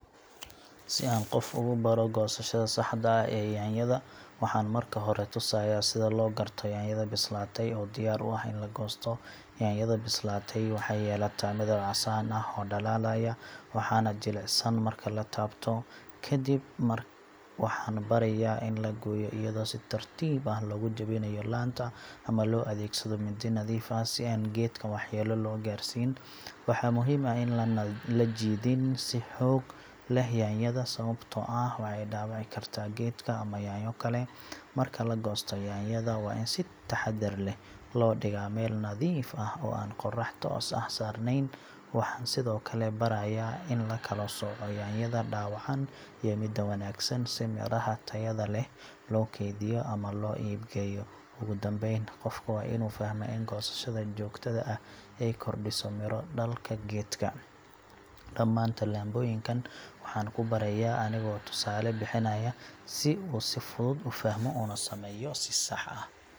Si aan qof ugu baro goosashada saxda ah ee yaanyada, waxaan marka hore tusayaa sida loo garto yaanyada bislaatay oo diyaar u ah in la goosto. Yaanyada bislaatay waxay yeelataa midab casaan ah oo dhalaalaya, waxaana jilicsan marka la taabto. Kadib waxaan barayaa in la gooyo iyadoo si tartiib ah loogu jebinayo laanta ama loo adeegsado mindi nadiif ah si aan geedka waxyeello loo gaarsiin. Waxaa muhiim ah in aan la jiidin si xoog leh yaanyada, sababtoo ah waxay dhaawici kartaa geedka ama yaanyo kale. Marka la goosto, yaanyada waa in si taxaddar leh loo dhigaa meel nadiif ah oo aan qorrax toos ah saarneyn. Waxaan sidoo kale barayaa in la kala sooco yaanyada dhaawacan iyo midda wanaagsan, si midhaha tayada leh loo keydiyo ama loo iib geeyo. Ugu dambayn, qofka waa inuu fahmaa in goosashada joogtada ah ay kordhiso midho dhalka geedka. Dhammaan tallaabooyinkan waxaan ku barayaa anigoo tusaale bixinaya, si uu si fudud u fahmo una sameeyo si sax ah.